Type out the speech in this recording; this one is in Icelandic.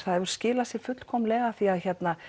það hefur skilað sér fullkomnlega því að